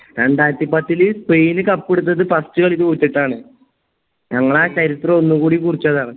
രണ്ടായിരത്തി പത്തില് Spain cup എട്ത്ത്‌ട്ട് first കളി തോറ്റിട്ടാണ് ഞങ്ങളാ ചരിത്രം ഒന്നും കൂടി കുറിച്ചതാണ്